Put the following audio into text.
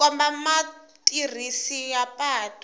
ku komba mutirhisi wa patu